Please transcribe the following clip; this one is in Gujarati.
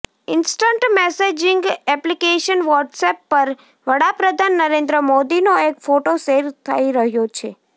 ઈન્સ્ટન્ટ મેસેજિંગ એપ્લિકેશન વોટ્સએપ પર વડાપ્રધાન નરેન્દ્ર મોદીનો એક ફોટો શૅર થઈ રહ્યો છે